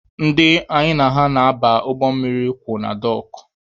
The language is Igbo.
Ndị anyị na ha so aba ụgbọ mmiri kwụ na dọọkụ.